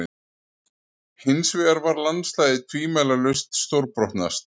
Hinsvegar var landslagið tvímælalaust stórbrotnast.